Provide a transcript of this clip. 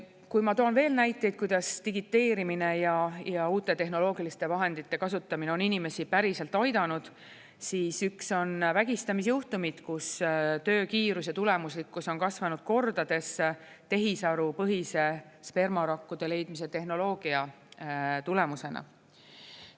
Kui ma toon veel näiteid, kuidas digiteerimine ja uute tehnoloogiliste vahendite kasutamine on inimesi päriselt aidanud, siis üks on vägistamisjuhtumid, kus töökiiruse tulemuslikkus on kasvanud kordades tehisarupõhise spermarakkude leidmise tehnoloogia tulemusena.